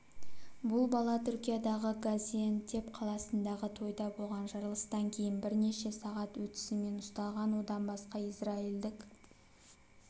бұл бала түркиядағы газиантеп қаласындағы тойда болған жарылыстан кейін бірнеше сағат өтісімен ұсталған одан басқа израильдік